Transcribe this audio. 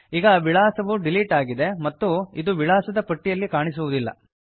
ಈಗ ವಿಳಾಸವು ಡಿಲೀಟ್ ಆಗಿದೆ ಮತ್ತು ಇದು ವಿಳಾಸದ ಪಟ್ಟಿಯಲ್ಲಿ ಕಾಣಿಸುವುದಿಲ್ಲ